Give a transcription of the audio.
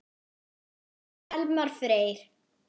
Þinn Elmar Freyr.